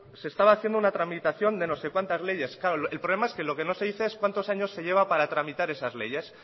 se estaba haciendo una tramitación de no sé cuántas leyes claro el problema es que lo que se dice es cuántos años se lleva para tramitar esas leyes